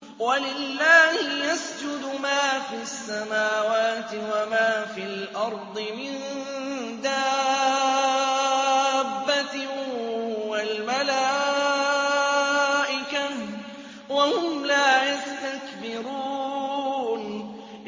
وَلِلَّهِ يَسْجُدُ مَا فِي السَّمَاوَاتِ وَمَا فِي الْأَرْضِ مِن دَابَّةٍ وَالْمَلَائِكَةُ وَهُمْ لَا يَسْتَكْبِرُونَ